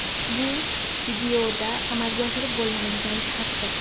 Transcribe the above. Bu videoda amalga oshirib bo‘lmaydigan jihatdir.